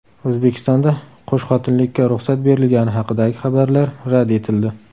O‘zbekistonda qo‘shxotinlikka ruxsat berilgani haqidagi xabarlar rad etildi.